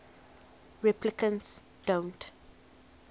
replicants don't